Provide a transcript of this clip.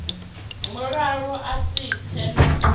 mulala a si tshe na